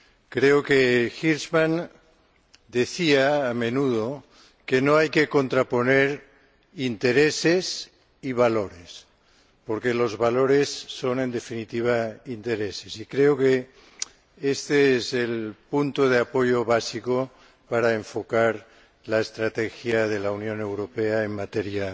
Creo que Hirschman decía, a menudo, que no hay que contraponer intereses y valores, porque los valores son, en definitiva, intereses. Creo que este es el punto de apoyo básico para enfocar la estrategia de la Unión Europea en materia